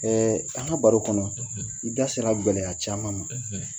an ka baro kɔnɔ i da sera gɛlɛya caman ma